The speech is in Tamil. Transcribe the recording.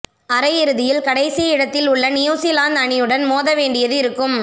அரையிறுதியில் கடைசி இடத்தில் உள்ள நியூஸிலாந்து அணியுடன் மோத வேண்டியது இருக்கும்